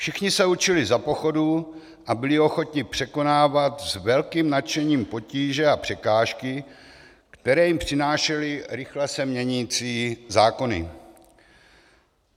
Všichni se učili za pochodu a byli ochotni překonávat s velkým nadšením potíže a překážky, které jim přinášely rychle se měnící zákony.